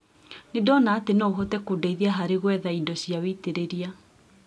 Nĩndona atĩ no ũhote kũndeithia harĩ gwetha indo cia wĩitĩrĩria.